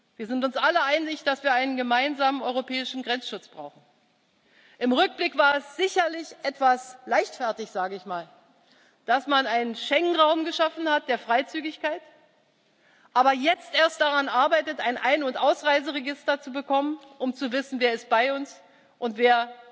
Wir sind uns alle einig, dass wir einen gemeinsamen europäischen Grenzschutz brauchen. Im Rückblick war es sicherlich etwas leichtfertig, sage ich mal, dass man einen Schengen raum der Freizügigkeit geschaffen hat, aber jetzt erst daran arbeitet, ein Ein und Ausreiseregister zu bekommen, um zu wissen, wer bei uns ist und